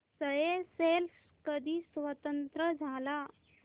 Seychelles कधी स्वतंत्र झाला